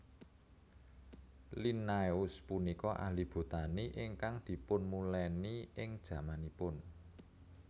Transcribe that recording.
Linnaeus punika ahli botani ingkang dipunmulèni ing jamanipun